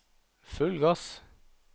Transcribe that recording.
full gass